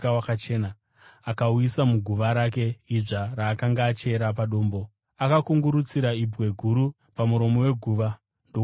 akauisa muguva rake idzva raakanga achera padombo. Akakungurutsira ibwe guru pamuromo weguva ndokubva aenda.